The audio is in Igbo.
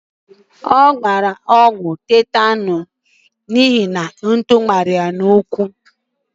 A gbara Udo ọgwụ tetanuus n'ihi na ntu mara ya n'ụkwụ.